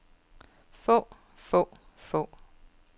få få få